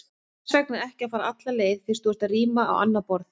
Hvers vegna ekki að fara alla leið, fyrst þú ert að ríma á annað borð?